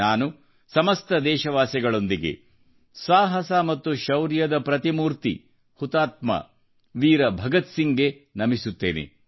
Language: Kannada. ನಾನು ಸಮಸ್ತ ದೇಶವಾಸಿಗಳೊಂದಿಗೆ ಸಾಹಸ ಮತ್ತು ಶೌರ್ಯದ ಪ್ರತಿಮೂರ್ತಿ ಹುತಾತ್ಮವೀರ ಭಗತ್ಸಿಂಗ್ಗೆ ನಮಿಸುತ್ತೇನೆ